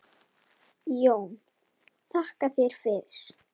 JÓN: Þakka þér fyrir!